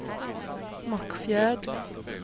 Mockfjärd